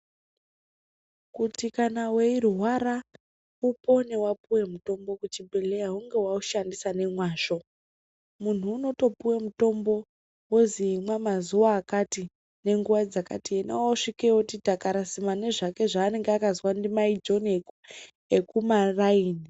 Kuti kana weirwara upone wapuwe mutombo kuchibhedhleya hunge waushandisa nemwazvo muntu unotopuwe mutombo wozi imwa mazuwa akati nenguwa dzakati ona osvikeyo oti takarasimba nezvake zvaanenge akazwa namaJoni ekumataini.